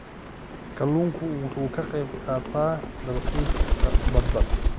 Kalluunku wuxuu ka qaybqaataa dalxiiska badda.